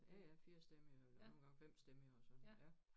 Ja ja firstemmig og nogle gange femstemmig og så ja